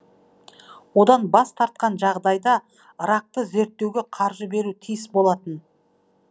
одан бас тартқан жағдайда ракты зерттеуге қаржы беру тиіс болатын